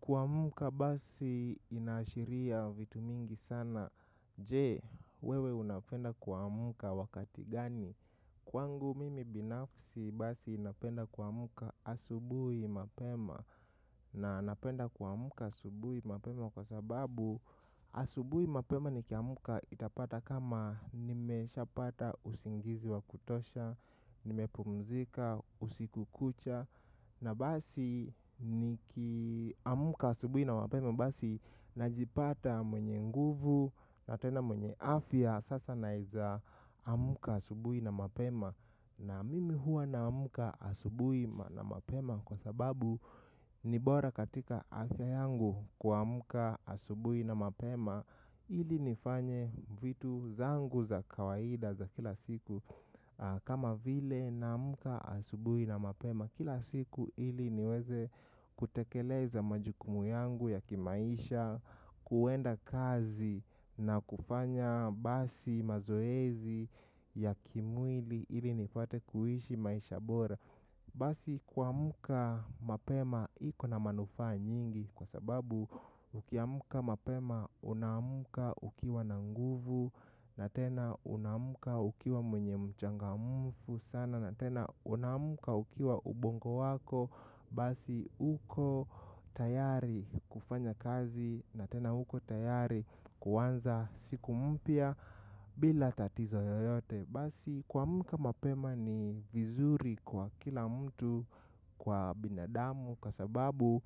Kuamka basi inaashiria vitu mingi sana. Je, wewe unapenda kuamka wakati gani? Kwangu binafsi basi napenda kuamka asubuhi mapema. Na anapenda kuamka asubuhi mapema kwa sababu asubuhi mapema nikiamka itapata kama nimesha pata usingizi wa kutosha, nimepumzika usiku kucha. Na basi niki amka asubuhi na mapema. Basi najipata mwenye nguvu. Na tena mwenye afya sasa naeza amka asubuhi na mapema. Na mimi hua naamka asubuhi na mapema. Kwa sababu ni bora katika afya yangu ku amka asubuhi na mapema ili nifanye vitu zangu za kawaida za kila siku kama vile naamka asubuhi na mapema kila siku ili niweze kutekeleza majukumu yangu ya kimaisha kuenda kazi na kufanya basi mazoezi ya kimwili ili nipate kuishi maisha bora basi kuamka mapema kuna manufaa nyingi kwa sababu ukiamka mapema unaamka ukiwa na nguvu. Na tena unaamka ukiwa mwenye mchangamfu sana. Na tena unaamka ukiwa ubongo wako. Basi uko tayari kufanya kazi. Na tena uko tayari kuanza siku mpya bila tatizo yoyote. Basi kuamka mapema ni vizuri kwa kila mtu kwa binadamu. Kwa sababu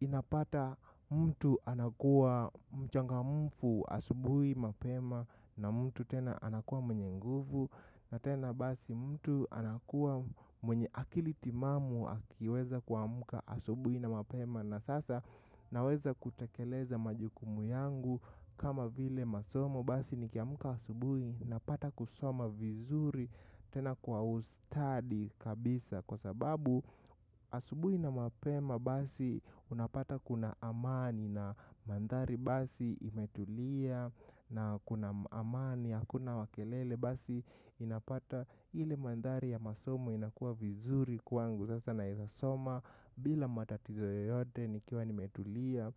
unapata mtu anakuwa mchangamfu asubuhi mapema na mtu tena anakuwa mwenye nguvu na tena basi mtu anakuwa mwenye akili timamu akiweza kuamka asubuhi na mapema na sasa naweza kutekeleza majukumu yangu kama vile masomo. Basi nikiamka asubuhi napata kusoma vizuri. Tena kwa ustadi kabisa kwa sababu asubuhi na mapema basi unapata kuna amani. Na maandhari basi imetulia. Na kuna amani. Hakuna wa kelele basi inapata ile maandhari ya masomo inakua vizuri kwangu. Sasa naezasoma. Bila matatizo yoyote nikiwa nimetulia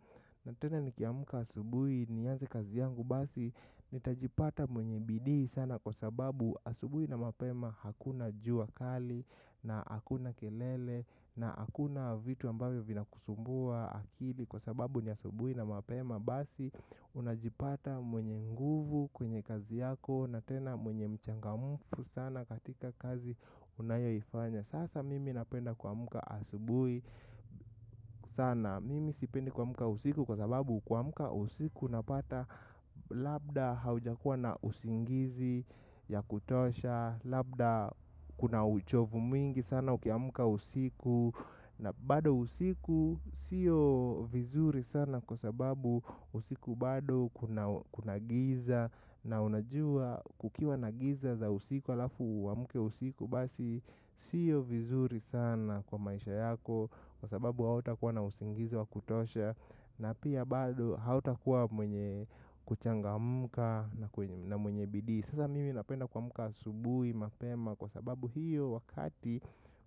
tena nikiamka asubuhi. Nianze kazi yangu basi. Nitajipata mwenye bidii sana kwa sababu asubuhi na mapema hakuna jua kali. Na hakuna kelele na hakuna vitu ambavyo vinakusumbua akili. Kwa sababu ni asubuhi na mapema basi. Unajipata mwenye nguvu kwenye kazi yako. Na tena mwenye mchangamfu sana katika kazi unayoifanya. Sasa mimi napenda kuamka asubuhi sana. Mimi sipendi kuamka usiku kwa sababu kuamka usiku unapata labda haujakuwa na usingizi ya kutosha. Labda kuna uchovu mwingi sana ukiamka usiku. Na bado usiku sio vizuri sana kwa sababu usiku bado kuna giza. Na unajua kukiwa na giza za usiku halafu uamke usiku. Basi sio vizuri sana kwa maisha yako. Kwa sababu hauta kuwa na usingizi wa kutosha. Na pia bado hautakua mwenye kuchangamka na mwenye bidii sasa mimi napenda kuamka asubuhi mapema kwa sababu hio wakati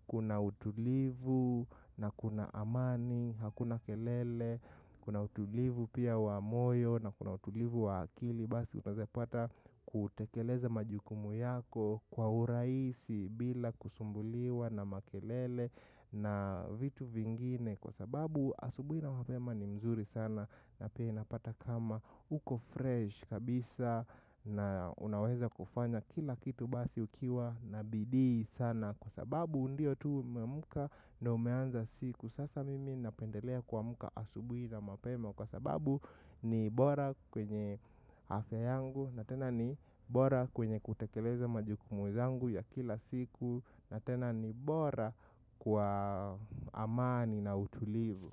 kuna utulivu na kuna amani. Hakuna kelele, kuna utulivu pia wa moyo na kuna utulivu wa akili. Basi unaezepata kutekeleza majukumu yako kwa urahisi bila kusumbuliwa na makelele na vitu vingine. Kwa sababu asubuhi na mapema ni mzuri sana na pia inapata kama uko fresh kabisa na unaweza kufanya kila kitu basi ukiwa na bidii sana. Kwa sababu ndio tu umemka na umeanza siku sasa mimi napendelea kuamka asubuhi na mapema. Kwa sababu ni bora kwenye afya yangu na tena ni bora kwenye kutekeleza majukumu zangu ya kila siku na tena ni bora kwa amani na utulivu.